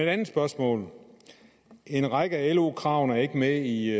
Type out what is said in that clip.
andet spørgsmål en række af lo kravene er ikke med i